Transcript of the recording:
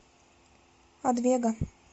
адвего